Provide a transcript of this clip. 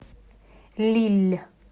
лилль